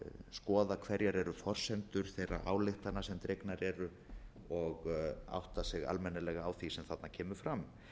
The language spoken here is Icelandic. skoða hverjar eru forsendur þeirra ályktana sem dregnar eru og átta sig almennilega á því sem þarna kemur fram